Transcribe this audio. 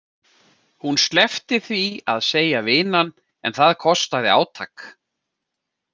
Hún sleppti því að segja vinan en það kostaði átak.